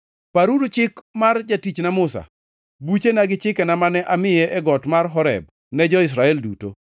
“Paruru chik mar jatichna Musa, buchena gi chikena mane amiye e got mar Horeb ne jo-Israel duto.